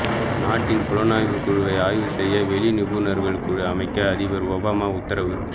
நாட்டின் புலனாய்வுக் குழுவை ஆய்வு செய்ய வெளி நிபுணர்கள் குழு அமைக்க அதிபர் ஒபாமா உத்தரவு